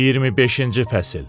25-ci fəsil.